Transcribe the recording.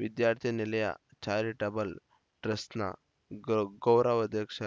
ವಿದ್ಯಾರ್ಥಿ ನಿಲಯ ಚಾರಿಟಬಲ್‌ ಟ್ರಸ್ಟ್‌ನ ಗೌರವಾಧ್ಯಕ್ಷ